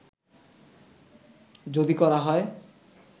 যদি করা হয়